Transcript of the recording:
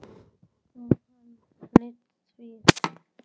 Og hann hlýddi því.